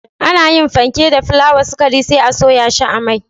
Ana yin fenke da fulawa, sukari sai a soya shi a mai